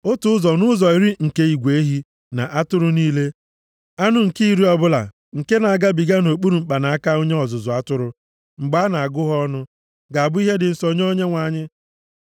Otu ụzọ nʼụzọ iri nke igwe ehi na atụrụ niile, anụ nke iri ọbụla nke na-agabiga nʼokpuru mkpanaka onye ọzụzụ atụrụ mgbe a na-agụ ha ọnụ, ga-abụ ihe dị nsọ nye Onyenwe anyị.